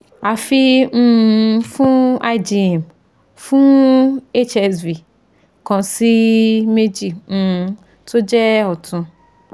àfi um fun igm fun hsv kan si meji um to je otun